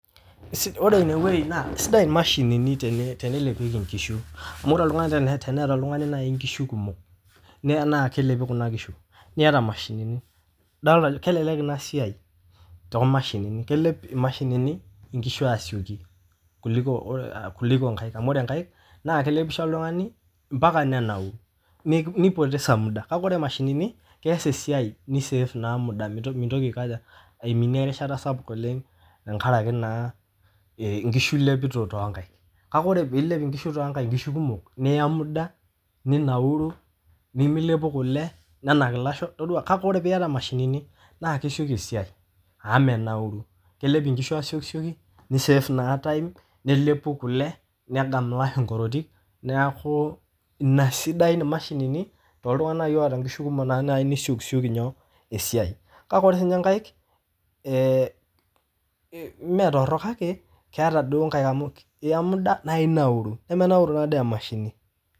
Ore ineweji naa esiadai imashinini teneilepieki inkishu, amu ore oltungani teneeta ltungani naii inkishu kumok, neya naa kelepi kuna kishu, nieta imashinini, idolita naa kelelek ina siaai to imshinini, kelep imashinini inkishu asioki kuliko inkaek amu ore inkaek naa kelepisho oltungani mpaka neirauru neipotesa emuda, kake ore imashinini keas esiaai neiseef emuda, meitoki aikoja, aiminie rishata sapuk oleng tengaraki naa inkishu ilepito too inkaek, kake ore piilep inkishu too inkaek inkishu kumok, niya muda, ninauru nimilepu kule nenak lasho kake itodua kake ore pieta imshinini naa kesioki esiai, amu menauru, kelep ikishu asioki, neiseef naa time nelepu kule, nedany ilasho inkorotit naaku ina sidain imashinini too ltungana loota inkishu kumok naii nesiokisioki inyoo esiai, kake ore sii ninye inkaek mee torrok kake keata duo nnkae amu iiya emuda naa inauru, nemenauru naa dei emashini.